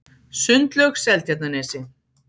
Sundlaug Seltjarnarnesi